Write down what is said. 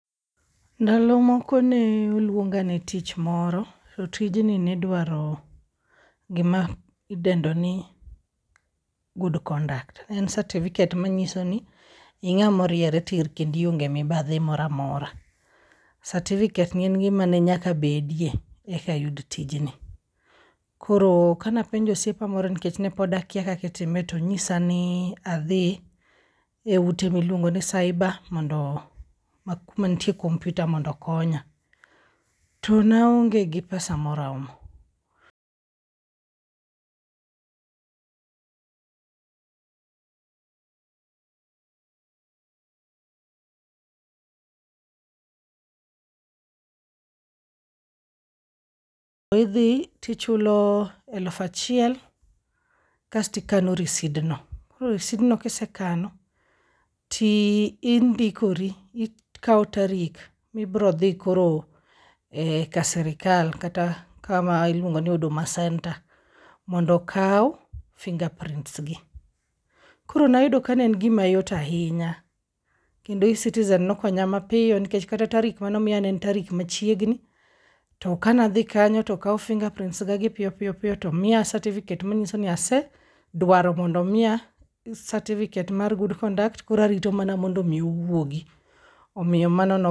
Ndalo moko ne oluonga ne tich moro, to tijni ne dwaro gima idendo ni good conduct. En certificate manyiso ni ing'amoriere tir kendionge mibadhi moramora. Certificate ni en gimane nyaka bedie eka ayud tijni. Koro kanapenjo osiepa moro nikech ne pod akia kakitime tonyisa ni adhi e ute miluongi nu cyber mondo, ma kuma nitie kompyuta mondokonya. To naonge gi pesa moromo. Idhi tichulo elufachiel kastikano risidno. Koro risidno kisekano, tindikori, ikao tarik mibrodhi koro ka sirikal kata kama iluongo ni Huduma Center, mondo okaw fingerprints gi. Koro nayudo kaen gimayot ahinya, kendo e-Citizen nokonya mapiyo nikech kata tarik manomiya ne en tarik machiegni. To kanadhi kanyo tokaw fingerprints ga gi piyo piyo piyo tomiya certificate manyiso ni asedwaro mondomiya certificate mar good conduct koro arito mana mondo mi owuogi. Omiyo mano no.